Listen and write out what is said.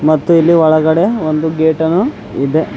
ಮತ್ತು ಇಲ್ಲಿ ಒಳಗಡೆ ಒಂದು ಗೇಟ ಅನ್ನು ಇದೆ.